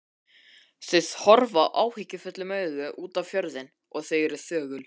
Þau horfa áhyggjufullum augum út á fjörðinn og eru þögul.